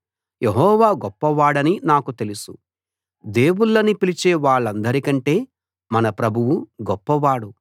యెహోవా గొప్పవాడని నాకు తెలుసు దేవుళ్ళని పిలిచే వాళ్ళందరికంటే మన ప్రభువు గొప్పవాడు